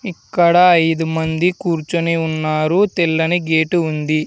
ఇక్కడ ఐదు మంది కూర్చొని ఉన్నారు తెల్లని గేటు ఉంది.